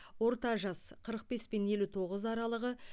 орта жас қырық бес пен елу тоғыз аралығы